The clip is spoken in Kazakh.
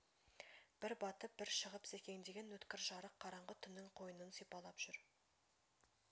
бір батып бір шығып секеңдеген өткір жарық қараңғы түннің қойынын сипалап жүр